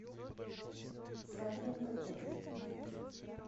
свадебный пакет